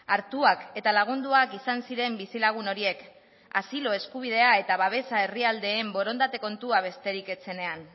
hartuak eta lagunduak izan ziren bizilagun horiek asilo eskubidea eta babesa herrialdeen borondate kontua besterik ez zenean